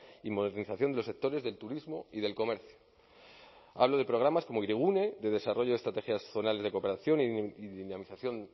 y modernización de los sectores del turismo y del comercio hablo de programas como hirigune de desarrollo de estrategias zonales de cooperación y dinamización